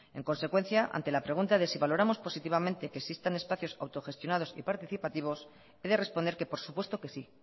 en consecuencia ante la pregunta de si valoramos positivamente que existen espacios autogestionados y participativos he de responder que por supuesto que sí